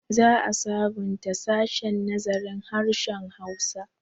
Za a sabunta sashen nazarin harshen Hausa.